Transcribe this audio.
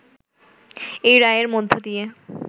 এই রায়ের মধ্য দিয়ে